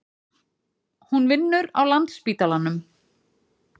Hún vinnur á Landspítalanum.